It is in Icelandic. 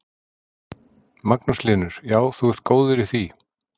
Magnús Hlynur: Já, þú ert góður í því?